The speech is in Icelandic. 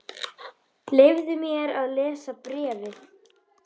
Leyfðu mér að lesa bréfið